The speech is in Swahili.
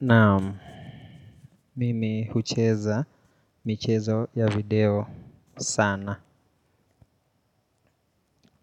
Naam, mimi hucheza, michezo ya video sana.